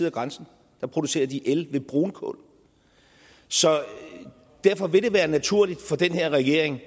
af grænsen producerer de el ved brunkul så derfor vil det være naturligt for den her regering